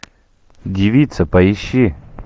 девица поищи